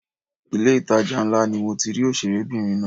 Ilé ìtajà ńlá ni mo ti rí òṣèré obìnrin náà.